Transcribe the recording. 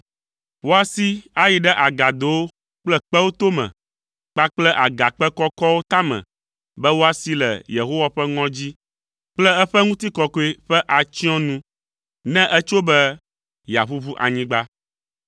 Woasi ayi ɖe agadowo kple kpewo tome kpakple agakpe kɔkɔwo tame be woasi le Yehowa ƒe ŋɔdzi kple eƒe ŋutikɔkɔe ƒe atsyɔ̃nu, ne etso be yeaʋuʋu anyigba.